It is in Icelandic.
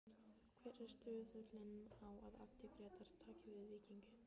Hver er stuðullinn á að Addi Grétars taki við Víkingi?